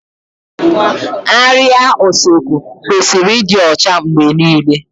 Árịá Usekwu kwesịrị ịdị ọcha mgbe niile